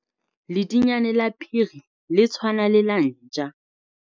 Ledinyane la phiri le tshwana le la ntja.